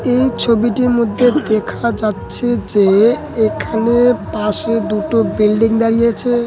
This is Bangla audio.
এই ছবিটির মধ্যে দেখা যাচ্ছে যে এখানে পাশে দুটো বিল্ডিং দাঁড়িয়ে আছে ।